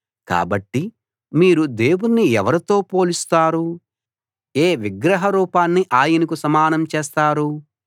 కాబట్టి మీరు దేవుణ్ణి ఎవరితో పోలుస్తారు ఏ విగ్రహ రూపాన్ని ఆయనకు సమానం చేస్తారు